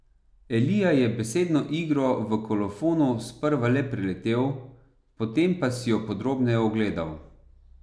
Elija je besedno igro v kolofonu sprva le preletel, potem pa si jo podrobneje ogledal.